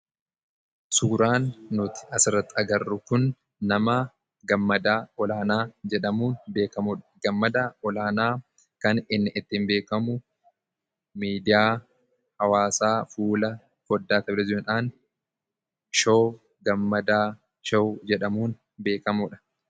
Suuraan asirratti arginu kun nama Gammadaa Olaanaa jedhamuun beekamudha. Gammadaan Olaanaa kan ittiin beekamu miidiyaa hawwaasaa fuula foddaa televizyiiniidhaan showuu 'Gammadaa Show' kedhamuudhaan beekamudha.